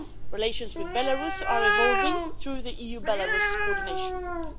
Relations with Belarus are evolving through the EU Belarus Coordination Group.